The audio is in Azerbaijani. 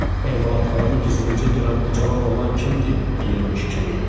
Emalatxanıma gizlincə girən bu cavan oğlan kimdi, deyirmiş kimi idi.